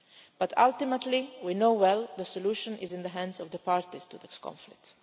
But ultimately we know well that the solution is in the hands of the parties to this conflict.